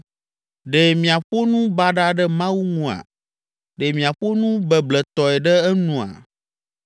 Ɖe miaƒo nu baɖa ɖe Mawu nua? Ɖe miaƒo nu bebletɔe ɖe enua?